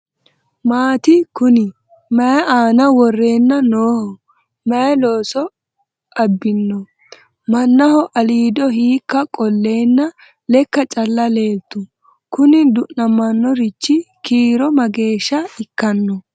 Maati kunni? Mayi aanna worrenna nooho? Mayi loose abinno? Mannaho aliiddo hiikka qoleenna lekka calla leelitu? Kuni dunaminorichi kiiro mageesha ikkanno?